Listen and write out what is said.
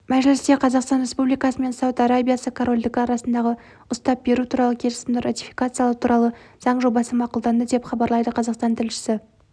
мәжілісте қазақстан республикасы мен сауд арабиясы корольдігі арасындағы ұстап беру туралы келісімді ратификациялау туралы заң жобасы мақұлданды деп хабарлайды қазақстан тілшісі